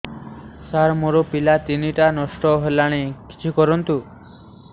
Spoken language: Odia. ସାର ମୋର ପିଲା ତିନିଟା ନଷ୍ଟ ହେଲାଣି କିଛି କରନ୍ତୁ